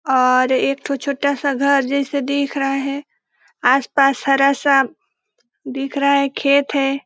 और एक तो छोटा सा घर जैसे दिख रहा है आसपास हरा सा दिख रहा है खेत है।